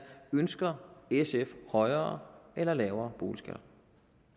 ønsker sf højere eller lavere boligskatter